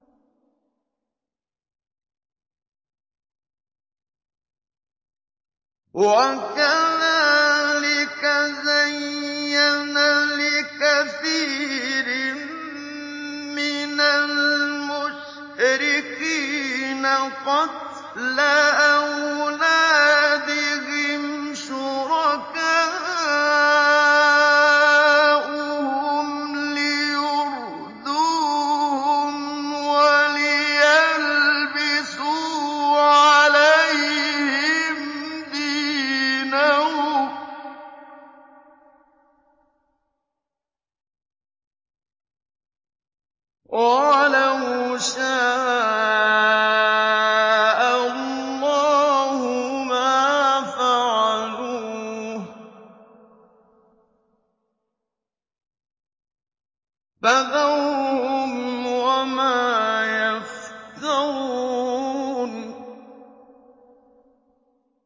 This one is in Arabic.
وَكَذَٰلِكَ زَيَّنَ لِكَثِيرٍ مِّنَ الْمُشْرِكِينَ قَتْلَ أَوْلَادِهِمْ شُرَكَاؤُهُمْ لِيُرْدُوهُمْ وَلِيَلْبِسُوا عَلَيْهِمْ دِينَهُمْ ۖ وَلَوْ شَاءَ اللَّهُ مَا فَعَلُوهُ ۖ فَذَرْهُمْ وَمَا يَفْتَرُونَ